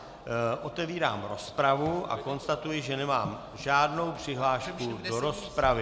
Otevírám rozpravu a konstatuji, že nemám žádnou přihlášku do rozpravy.